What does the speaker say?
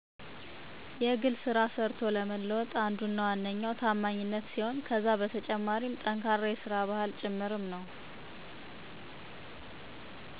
ታማኝነት ሲሆን ከዛ በተጨማሪም ጠንካራ የሰራ ባህል ጭምርም ነው።